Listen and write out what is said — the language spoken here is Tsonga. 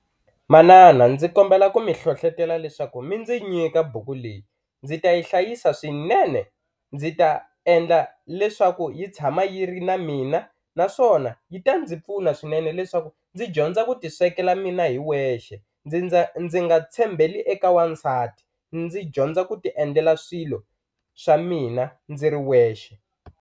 Manana ndzi kombela ku mi hlohlotela leswaku mi ndzi nyita buku leyi ndzi ta yi hlayisa swinene ndzi ta endla leswaku yi tshama yi ri na mina naswona yi ta ndzi pfuna swinene leswaku ndzi dyondza ku ti swekela mina hi wexe ndzi ndza ndzi nga tshembeli eka wansati ndzi dyondza ku ti endlela swilo xa mina ndzi ri wexe.